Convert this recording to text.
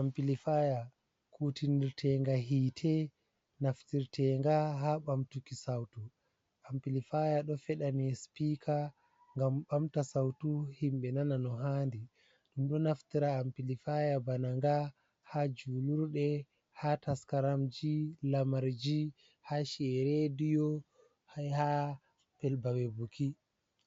Ampilifaya kutinirtenga hite naftirtenga ha ɓamtuki sautu. Ampilifaya ɗo feɗani spika ngam ɓamta sautu himɓe nana no handi. Ɗum ɗo naftira Ampilifaya bana nga ha julurde, ha taskaramji lamarji, ha ci'e rediyo ha babe buki,